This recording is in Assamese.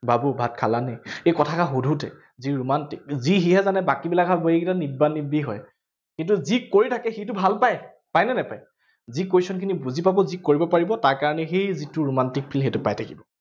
বাবু ভাত খালানি, সেই কথাষাৰ সোধোতে যি romantic যি সিহে জানে, বাকীবিলাকে কব ইহঁত নিব্বা নিব্বি হয়। কিন্তু যি কৰি, সিটো ভাল পায়, পায় নে নাপায়, যি question খিনি বুজি পাব, যি কৰিব পাৰিব তাৰ কাৰনে সেই যিটো romantic feel সেইটো পাই থাকিব।